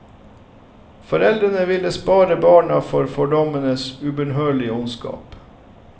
Foreldrene ville spare barna for fordommenes ubønnhørlige ondskap.